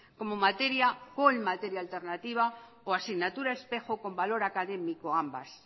como materia alternativa o asignatura espejo con valor académico